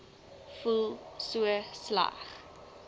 voel so sleg